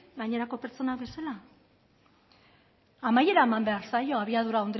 gainerako pertsonak bezala amaiera eman behar zaio abiadura